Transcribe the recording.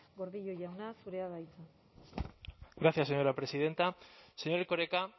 gordillo jauna zurea da hitza gracias señora presidenta señor erkoreka